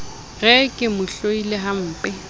re ke mo hloile hampe